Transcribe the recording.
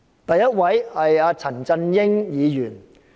第一位是陳振英議員。